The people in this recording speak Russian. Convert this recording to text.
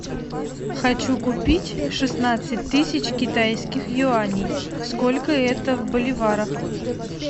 хочу купить шестнадцать тысяч китайских юаней сколько это в боливарах